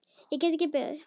Ég get ekki beðið.